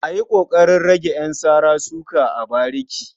A yi ƙoƙarin rage ƴan sara-suka a bariki.